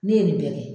Ne ye nin bɛɛ kɛ